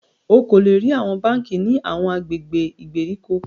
O ko le rí awọn bánkì ní awọn agbègbè ìgbèríko